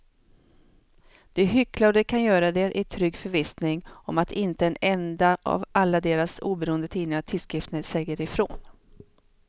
De hycklar och de kan göra det i trygg förvissning om att inte en enda av alla deras oberoende tidningar och tidskrifter säger ifrån.